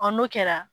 n'o kɛra